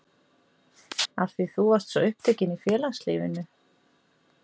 Af því þú varst svo upptekin í félagslífinu?